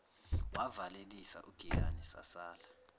wavalelisa ugiyani sasala